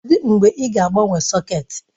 Kedụ mgbe ị ga-agbanwe sọ̀két?